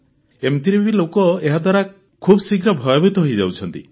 ଏମିତିରେ ବି ଲୋକ ଏହାଦ୍ୱାରା ଖୁବଶୀଘ୍ର ଭୟଭୀତ ହୋଇଯାଉଛନ୍ତି